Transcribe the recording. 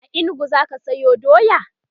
a inugu zaka Sayo doya?